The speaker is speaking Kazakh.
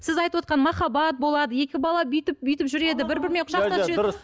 сіз айтывотқан махаббат болады екі бала бүйтіп бүйтіп жүреді бір бірімен құшақтасып жүреді